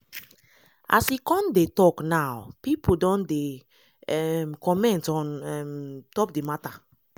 as e come dey tok now pipo don dey um comment on um top di mata.